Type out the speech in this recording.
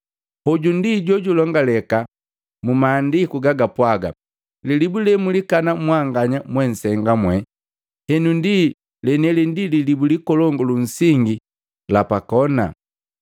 Hoju ndi jojulongaleka mmaandiku gagapwaga: lilibu lemulikana mwanganya mwensenga mwee, henu ndiu leniheli ndi lilibu likolongu lunsingi lapa kona.